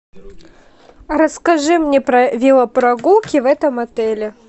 расскажи мне про велопрогулки в этом отеле